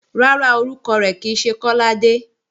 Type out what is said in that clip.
Rárá, orúkọ rẹ̀ kì í ṣe Kọ́ládé